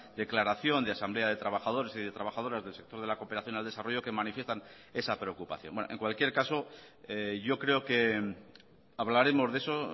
declaración de asamblea de trabajadores y de trabajadoras del sector de la cooperación al desarrollo que manifiestan esa preocupación en cualquier caso yo creo que hablaremos de eso